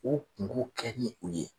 K'o kungo kɛ ni u ye